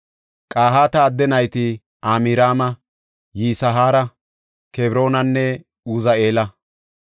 Qahaata adde nayti Amraama, Yisihaara, Kebroonanne Uzi7eela.